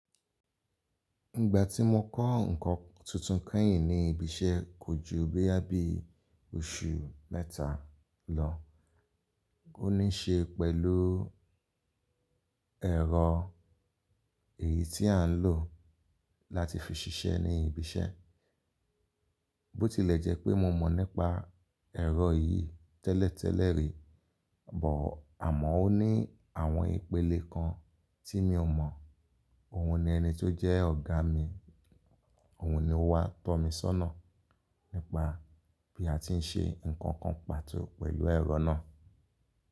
Ìgbà tí mo kọ́ nǹkan tuntun kẹ́yìn ní ibi iṣẹ́ kò ju boya bi oṣù mẹ́ta lọ, ó ní ṣe pẹ̀lú ẹ̀rọ èyí tí à ń lò láti fi ṣiṣẹ́ ní ibi iṣẹ́. Bó tilẹ̀ jẹ́ pé mo mọ̀ nípa ẹ̀rọ yìí tẹ́lẹ̀tẹ́lẹ̀ rí, àmọ́ ó ní àwọn ìpele kan tí mi ò mọ̀. Òun ni ẹni tó jẹ́ ọ̀gá mi, òun ni ó wá tọ́ mi sọ́nà nípa bí a ti ń ṣe nǹkan kan pàtó pẹ̀lú ẹ̀rọ náà.